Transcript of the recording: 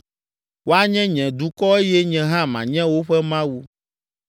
Woanye nye dukɔ eye nye hã manye woƒe Mawu.